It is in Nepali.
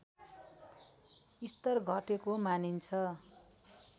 स्तर घटेको मानिन्छ